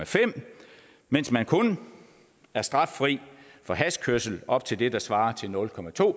fem mens man kun er straffri for hashkørsel op til det der svarer til nul